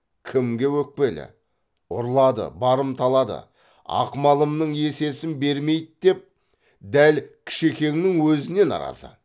кімге өкпелі ұрлады барымталады ақ малымның есесін бермейді деп дәл кішекеңнің өзіне наразы